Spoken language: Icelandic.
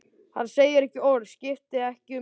Hann segir ekki orð, skiptir ekki um svip.